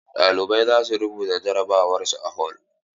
Ɗalibai za su rubuta jarabawar su a hol.